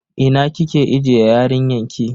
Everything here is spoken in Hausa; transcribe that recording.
Ina kike ajiye yarinyan ki?